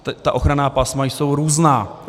Ta ochranná pásma jsou různá.